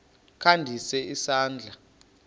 kha ndise isandla